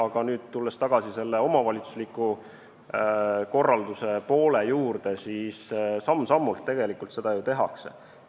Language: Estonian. Aga tulles tagasi selle omavalitsusliku korralduse poole juurde, siis samm-sammult tegelikult seda ju tehakse.